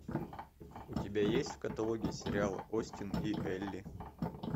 у тебя есть в каталоге сериал остин и элли